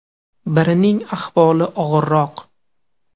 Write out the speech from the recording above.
Birining ahvoli og‘irroq.